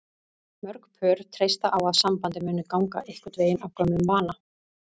Mörg pör treysta á að sambandið muni ganga einhvern veginn af gömlum vana.